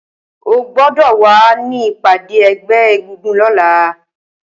Ó gbọdọ wà ni ipàdé ẹgbẹ égúngún lọ̀lá